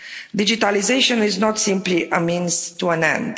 Digitalisation is not simply a means to an end.